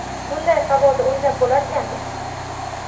Bunday havoda o‘ynab bo‘larkanmi?